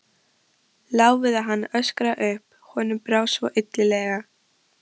Lá við að hann öskraði upp, honum brá svo illilega.